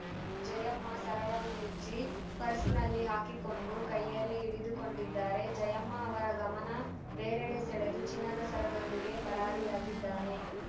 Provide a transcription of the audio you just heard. ಜಯಮ್ಮ ಸರವನ್ನು ಬಿಚ್ಚಿ ಪರ್ಸ್‌ನಲ್ಲಿ ಹಾಕಿಕೊಂಡು ಕೈಯಲ್ಲಿ ಹಿಡಿದುಕೊಂಡಿದ್ದಾರೆ ಜಯಮ್ಮ ಅವರ ಗಮನ ಬೇರೆಡೆ ಸೆಳೆದು ಚಿನ್ನದ ಸರದೊಂದಿಗೆ ಪರಾರಿಯಾಗಿದ್ದಾನೆ